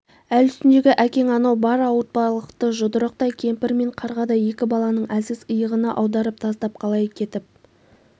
әл үстіндегі әкең анау бар ауыртпалықты жұдырықтай кемпір мен қарғадай екі баланың әлсіз иығына аударып тастап қалай кетіп